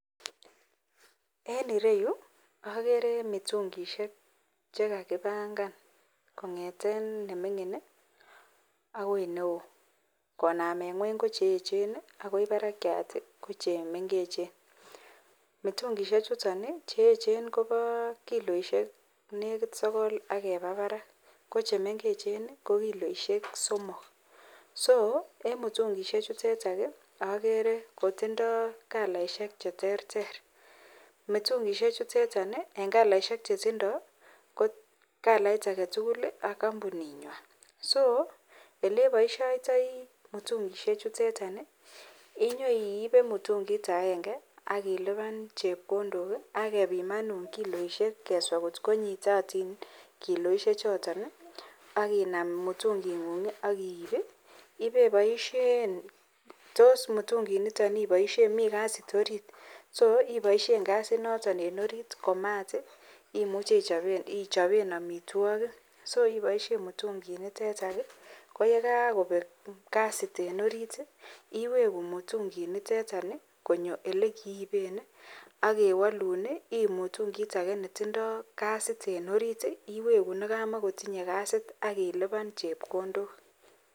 En ireyu agere mitungishek chekakibangan kongeten nemingin akoi neon konamen ngweny kocheechen akoi barakiat kochemengecben mitungishek chuton chemengechen Koba kiloishek nekit Sokol akeba Barak kochemengecben konkiloishek somok so emutungishek chutetan agere koitindoi kalaishek cheterter mitungishek chutetan en kalaishek chetindoi ko kalaitbagetugul ak kampuninywan ak olebaishoitoi mitungishek chuteton inyoiibe mutungit agenge akiluban chepkondok agebimanun kiloishek keswa kot ko nyitotin kiloishek choton akinam mutungit ngung agiib akiwe ibaishen tos mutungit niton ibaishen ako Mii kasit orit so ibaishen kasit noton en orit ak mat imeche ichoben amitwagik so ibaishen mutungit niton ak yegagobek kasit en orit iweku mutungit niteton konyo yelekiiben akewalun akiib mutungit age netindoi ksait en orit iwegu nekamakotinye kasit akiluban chepkondok